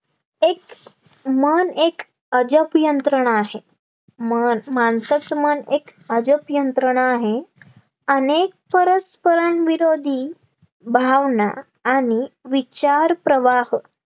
एक मन एक अजब यंत्रणा आहे मन माणसाचं मन एक अजब यंत्रणा आहे, अनेक परस्परांविरोधी भावना आणि विचार प्रवाह